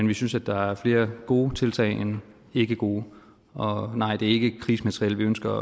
vi synes at der er flere gode tiltag end ikke gode og nej det er ikke krigsmateriel vi ønsker